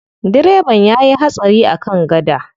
Direban ya yi hatsari a kan gada.